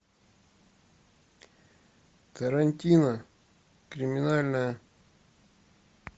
тарантино криминальное